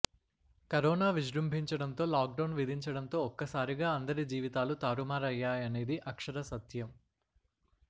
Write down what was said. corona విజృంభించడంతో lockdown విధించడంతో ఒక్కసారిగా అందరి జీవితాలు తారుమరయ్యాయనేది అక్షర సత్యం